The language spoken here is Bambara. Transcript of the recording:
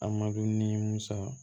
An ma dumuni mun san